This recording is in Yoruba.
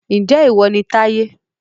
Ǹjẹ́ ìwọ ni Táyé